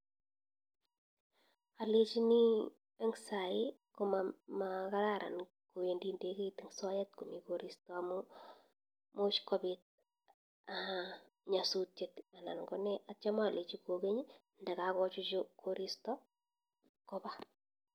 Alechinii eng saii komakararan kowindii ndeket eng soet komii korista amuu much kopiit nyasutiet anan konee atya alechii kongeny ndakochuchuu korista kopaa